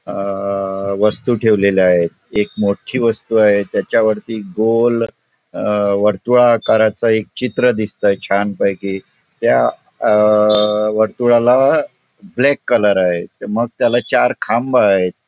अ वस्तू ठेवलेल्या आहे एक मोठी वस्तू आहे त्याच्यावरती गोल अहं वर्तुळाकाराचा एक चित्र दिसतय छान पैकी त्या अ वर्तुळाला ब्लॅक कलर आहे मग त्याला चार खांब आहेत.